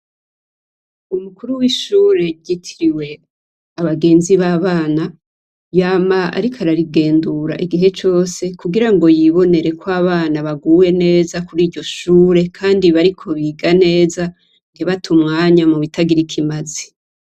Umukuru w'ishuri ryitiriwe Abagenzi b'Abana yama ariko ararigendura igihe cose kugira ngo yibonere ko abana baguwe neza kuri iryo shure kandi bariko biga neza, ntibate umwanya mu bitagira ikimazi.